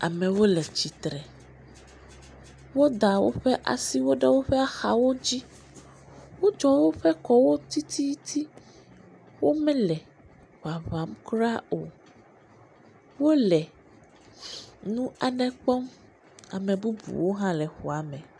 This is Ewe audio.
Amewo le tsitre, woda woƒe aso ɖe woƒe axawo dzi. Wodzɔ woƒe kɔwo tititi, womele ŋaŋam kura o, wole nu aɖewo hã kpɔm. ame bubuwo hã le xɔa me.